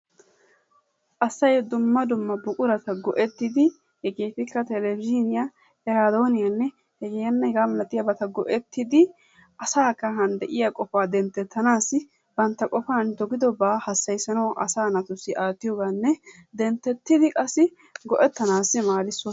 Asay dumma dumma buqurata go"ettidi hegeetikka telebizhzhiiniya, eraadooniyaanne hegaanne hegaa malatiyabata go"ettidi asaa kahan de"iyaa qofaa denttettanaassi bantta qofan dogidobaa hassayissanawu asaa naatussi aattiyoogaanne denttettidi qassi go"ettanaassi maaddes.